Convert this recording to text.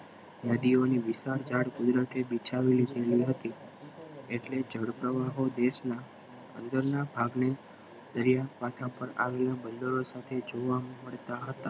નદીઓની વિશાળ ઝાડ કુદરતે બિછાવી લીધી હતી એટલે જળ પ્રવાહ હો દેશના અંદરના ભાગને દરિયાકાંઠે આવેલા બંદરો જોવા મળતા હતા